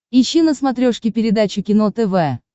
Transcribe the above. ищи на смотрешке передачу кино тв